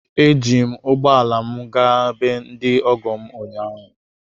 Eji m ụgbọ ala m gaa be ndị ọgọ m ụnyaahụ.